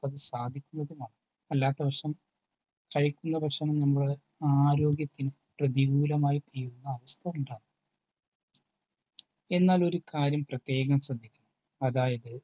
സാധിക്കുന്നതുമാണ്. അല്ലാത്തവശം സഹിക്കുന്ന പക്ഷം നമ്മുടെ ആരോഗ്യത്തിനു പ്രതികൂലമായി തീരുവാൻ അർത്ഥമെന്താണ്. എന്നാൽ ഒരു കാര്യം പ്രത്യേകം ശ്രദ്ധിക്കണം. അതായത്